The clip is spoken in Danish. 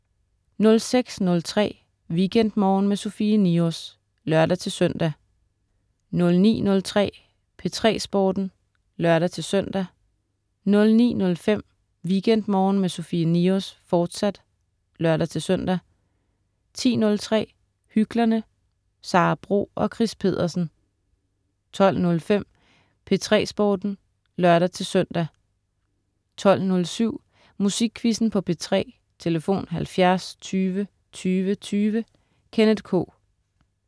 06.03 WeekendMorgen med Sofie Niros (lør-søn) 09.03 P3 Sporten (lør-søn) 09.05 WeekendMorgen med Sofie Niros, fortsat (lør-søn) 10.03 Hyklerne. Sara Bro og Chris Pedersen 12.05 P3 Sporten (lør-søn) 12.07 Musikquizzen på P3. Tlf.: 70 20 20 20. Kenneth K